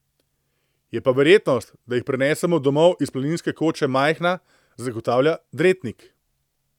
Je pa verjetnost, da jih prinesemo domov iz planinske koče majhna, zagotavlja Dretnik.